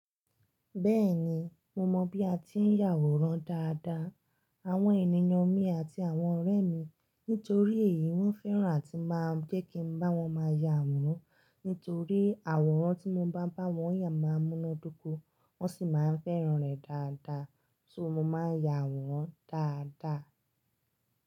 Bẹ́ẹ̀ni, mo mọ bí a ti ń yà àwòrán dáadáa. Àwọn ènìyàn mi àti àwọn ọ̀rẹ́ mi nítorí èyí wọ́n fẹ́ràn tí máa ń jé kí n bá wọn máa yà àwòrán, nítorí àwòrán tí mo bá bá wọn yà máa múná dúró, wọ́n sì máa ń fẹ́ràn rẹ̀ dáadáa, ṣó mo máa ń yà wọ́n dáadáa.